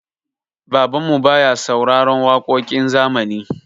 Babanmu baya sauraron waƙoƙin zamani.